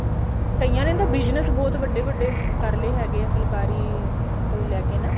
ਕਈਆਂ ਨੇ ਤਾਂ business ਹੀ ਬਹੁਤ ਵੱਡੇ ਵੱਡੇ ਕਰਲੇ ਫੁਲਕਾਰੀ ਤੋਂ ਲੈਕੇ ਨਾ